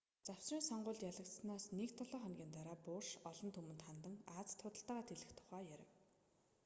завсрын сонгуульд ялагдсанаас нэг долоо хоногийн дараа буш олон түмэнд хандан азид худалдаагаа тэлэх тухай ярив